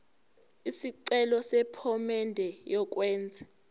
isicelo sephomedi yokwenze